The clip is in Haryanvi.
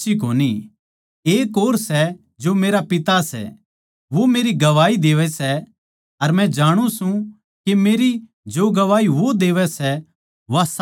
एक और सै जो मेरा पिता सै वो मेरी गवाही देवै सै अर मै जाणु सूं के मेरी जो गवाही वो देवै सै वा साच्ची सै